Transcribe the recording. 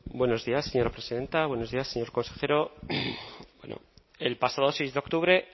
buenos días señora presidenta buenos días señor consejero el pasado seis de octubre